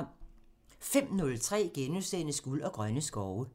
05:03: Guld og grønne skove *(tir)